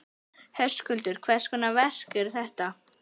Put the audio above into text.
Höskuldur: Hvers konar verk eru þetta?